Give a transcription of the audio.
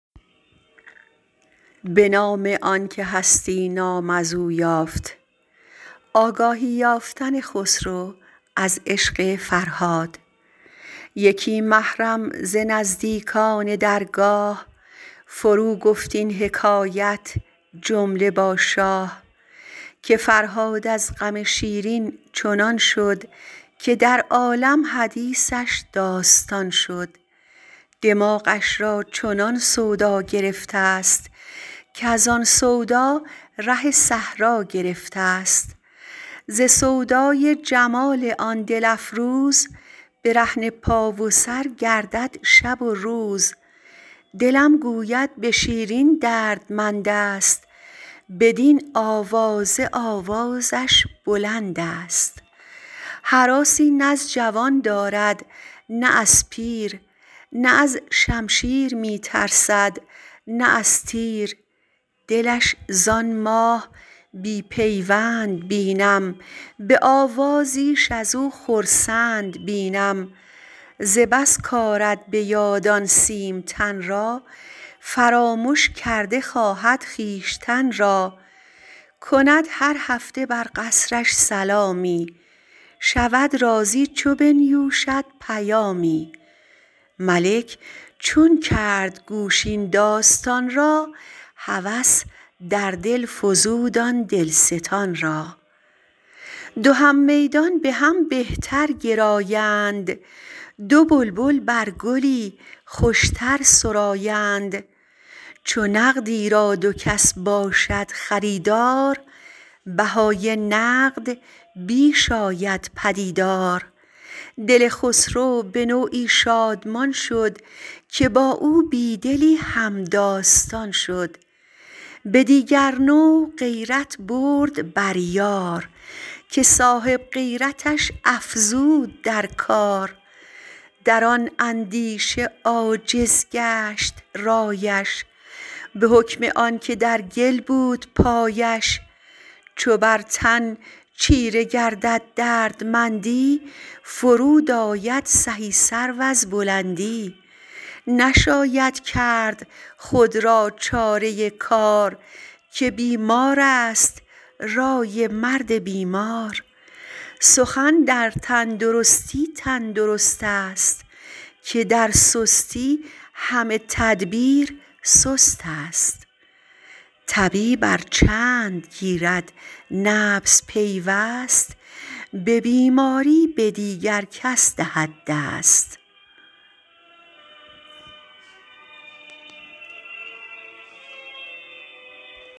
یکی محرم ز نزدیکان درگاه فروگفت این حکایت جمله با شاه که فرهاد از غم شیرین چنان شد که در عالم حدیثش داستان شد دماغش را چنان سودا گرفته است کزان سودا ره صحرا گرفته است ز سودای جمال آن دل افروز برهنه پا و سر گردد شب و روز دلم گوید به شیرین دردمند است بدین آوازه آوازش بلند است هراسی نز جوان دارد نه از پیر نه از شمشیر می ترسد نه از تیر دلش زان ماه بی پیوند بینم به آوازیش از او خرسند بینم ز بس کآرد به یاد آن سیم تن را فرامش کرده خواهد خویشتن را کند هر هفته بر قصرش سلامی شود راضی چو بنیوشد پیامی ملک چون کرد گوش این داستان را هوس در دل فزود آن دل ستان را دو هم میدان به هم به تر گرایند دو بلبل بر گلی خوش تر سرآیند چو نقدی را دو کس باشد خریدار بهای نقد بیش آید پدیدار دل خسرو به نوعی شادمان شد که با او بی دلی هم داستان شد به دیگر نوع غیرت برد بر یار که صاحب غیرتش افزود در کار در آن اندیشه عاجز گشت رایش به حکم آن که در گل بود پایش چو بر تن چیره گردد دردمندی فرود آید سهی سرو از بلندی نشاید کرد خود را چاره کار که بیمار است رای مرد بیمار سخن در تن درستی تن درست است که در سستی همه تدبیر سست است طبیب ار چند گیرد نبض پیوست به بیماری به دیگر کس دهد دست